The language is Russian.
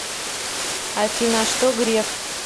афина а что греф